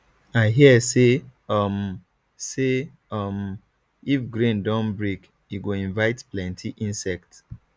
i hear say um say um if grain don break e go invite plenty insect